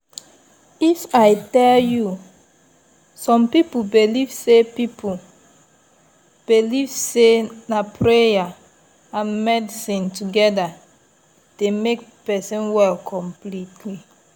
if i tell you! some people believe say people believe say na prayer and medicine together dey make person well completely